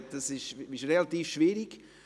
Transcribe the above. Das ist relativ schwierig.